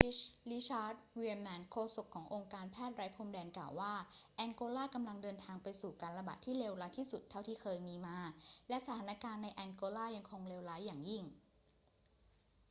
richard veerman โฆษกขององค์การแพทย์ไร้พรมแดน กล่าวว่า แองโกลากำลังเดินทางไปสู่การระบาดที่เลวร้ายที่สุดเท่าที่เคยมีมา และสถานการณ์ในแองโกลายังคงเลวร้ายอย่างยิ่ง